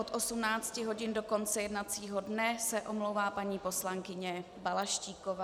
Od 18 hodin do konce jednacího dne se omlouvá paní poslankyně Balaštíková.